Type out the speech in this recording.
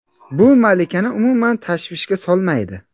Bu malikani umuman tashvishga solmaydi.